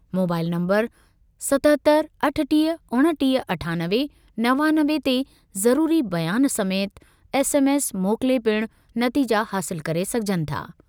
Mobile number सतहतरि अठटीह उणिटीह अठानवे नवानवे ते ज़रूरी बयान समेति एसएमएस मोकिले पिणु नतीजा हासिल करे सघिजनि था।